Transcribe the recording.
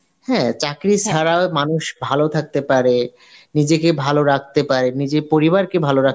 হ্যাঁ চাকরি ছাড়াও মানুষ ভালো থাকতে পারে, নিজেকে ভালো রাখতে পারে নিজের পরিবারকে ভালো রাখ